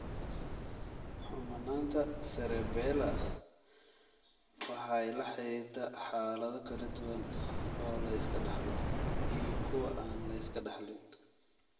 Xumanaanta Cerebellar waxay la xiriirtaa xaalado kala duwan oo la iska dhaxlo iyo kuwa aan la iska dhaxlin.